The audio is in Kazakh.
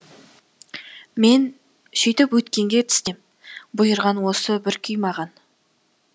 мен сөйтіп өткенге тістем бұйырған осы бір күй маған